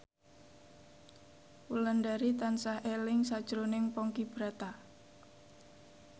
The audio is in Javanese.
Wulandari tansah eling sakjroning Ponky Brata